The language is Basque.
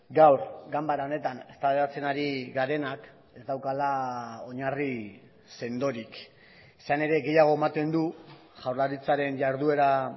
gaur ganbara honetan eztabaidatzen ari garenak ez daukala oinarri sendorik izan ere gehiago ematen du jaurlaritzaren jarduera